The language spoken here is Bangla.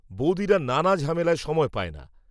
বৌদিরা নানা ঝামেলায় সময় পায় না